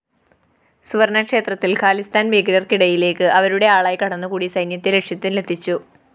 സുവര്‍ണക്ഷേത്രത്തില്‍ ഖാലിസ്ഥാന്‍ ഭീകരര്‍ക്കിടയിലേക്ക് അവരുടെ ആളായി കടന്നുകൂടി സൈന്യത്തെ ലക്ഷ്യത്തിലെത്തിച്ചു